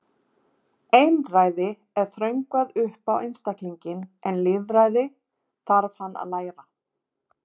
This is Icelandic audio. Einræði er þröngvað upp á einstaklinginn en lýðræði þarf hann að læra.